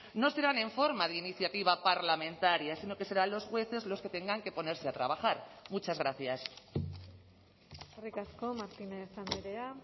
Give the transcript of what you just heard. no serán en forma de iniciativa parlamentaria sino que serán los jueces los que tengan que ponerse a trabajar muchas gracias eskerrik asko martínez andrea